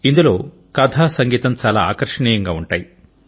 ఇందులో కథ సంగీతం చాలా ఆకర్షణీయంగా ఉంటాయి